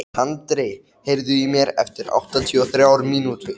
Tandri, heyrðu í mér eftir áttatíu og þrjár mínútur.